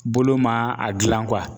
Bolo ma a gilan kuwa